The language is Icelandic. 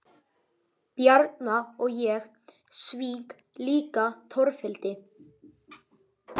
Bjarna og ég svík líka Torfhildi.